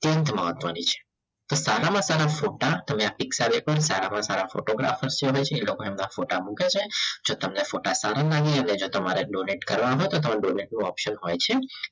મહત્વની છે તો સારામાં સારા ફોટા સારામાં સારા photographer એ લોકો એમના ફોટા મૂકે છે જો તમે ફોટા જો તમારે donate કરવા હોય તો તમારે donate નું option હોય છે.